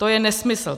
To je nesmysl.